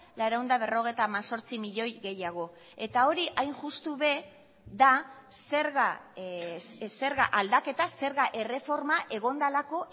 laurehun eta berrogeita hemezortzi milioi gehiago eta hori hain justu ere da zerga aldaketa zerga erreforma egon delako